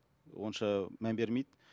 онша мән бермейді